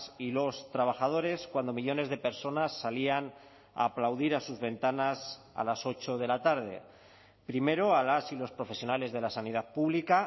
y los trabajadores cuando millónes de personas salían a aplaudir a sus ventanas a las ocho de la tarde primero a las y los profesionales de la sanidad pública